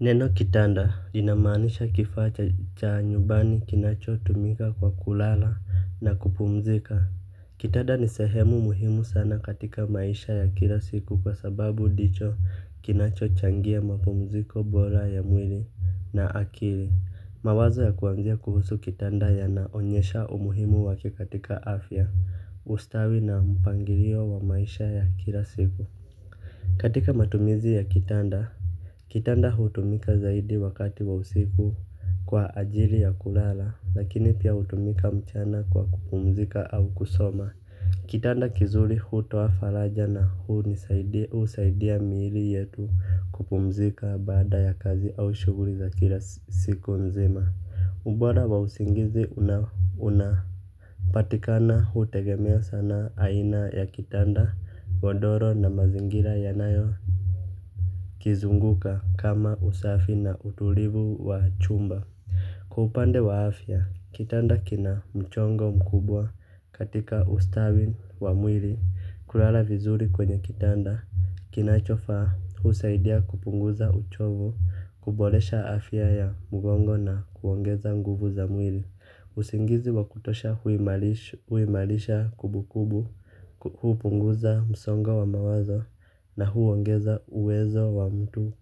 Neno kitanda linamanisha kifaa cha cha nyubani kinachotumika kwa kulala na kupumzika. Kitanda ni sehemu muhimu sana katika maisha ya kila siku kwa sababu dicho kinachochangia mapumziko bola ya mwili na akili. Mawazo ya kuanzia kuhusu kitanda yanaonyesha umuhimu wake katika afya ustawi na mpangirio wa maisha ya kila siku. Katika matumizi ya kitanda kitanda hutumika zaidi wakati wa usiku kwa ajili ya kulala lakini pia hutumika mchana kwa kupumzika au kusoma. Kitanda kizuri hutoa faraja na huni usaidia miili yetu kupumzika baada ya kazi au shughuri za kila siku nzima. Mbora wa usingizi unauna patikana hutegemea sana aina ya kitanda, godoro na mazingira yanayo kizunguka kama usafi na utulivu wa chumba. Kwa upande wa afya, kitanda kina mchongo mkubwa katika ustawi wa mwili. Kulala vizuri kwenye kitanda, kinachofaa husaidia kupunguza uchovu. Kubolesha afya ya mgongo na kuongeza nguvu za mwili usingizi wa kutosha huimarisha kubukubu hupunguza msonga wa mawazo na huongeza uwezo wa mtu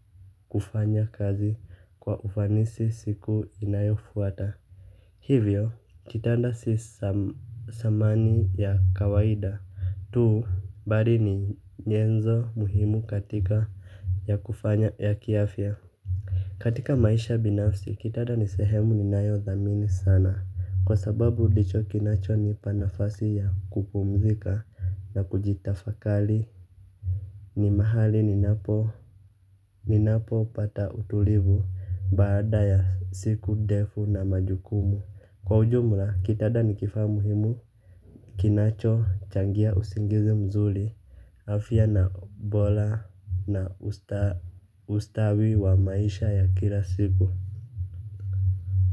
kufanya kazi kwa ufanisi siku inayofuata. Hivyo, kitanda si samani ya kawaida tuu bari ni nyenzo muhimu katika ya kufanya ya kiafia. Katika maisha binafsi, kitada ni sehemu ninayodhamini sana. Kwa sababu dicho kinachonipa nafasi ya kupumzika na kujitafakali. Ni mahali ninapopata utulivu baada ya siku defu na majukumu. Kwa ujumla, kitada ni kifaa muhimu. Kinachochangia usingizi mzuli. Afya na bola na ustawi wa maisha ya kila siku kwa hivyo.